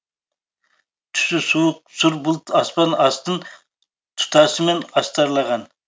түсі суық сұр бұлт аспан астын тұтасымен астарлаған